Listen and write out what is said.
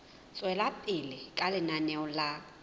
tswela pele ka lenaneo la